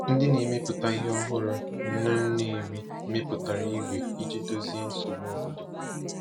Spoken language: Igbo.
Ndị na-emepụta ihe ọhụrụ n'Nnewi mepụtara igwe iji dozie nsogbu obodo.